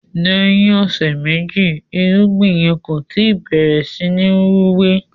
lèyìn ọsẹ meji irúgbìn yẹ kò tí bẹrẹ sìn Rúwé.